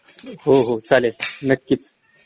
हो हो चालेल नक्कीच